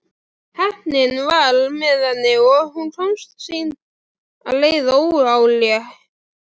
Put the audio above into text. Heppnin var með henni og hún komst sína leið óáreitt.